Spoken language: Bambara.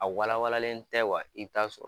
A walawalalen tɛ wa i t'a sɔrɔ